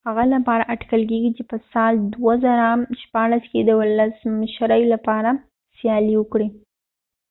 هغه لپاره اټکل کیږي چې په کال 2016 کې د ولسمشرۍ لپاره سیالي وکړي